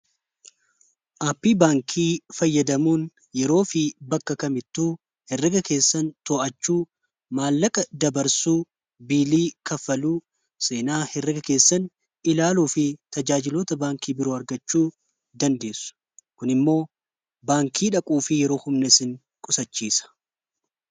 aappii baankii fayyadamuun yeroo fi bakka kamittuu herraga keessan to'achuu maallaqa dabarsuu biilii kaffaluu seenaa herraga keessan ilaaluu fi tajaajilota baankii biroo argachuu dandeessu kun immoo baankii dhaquu fi yeroo humnesin qusachiisa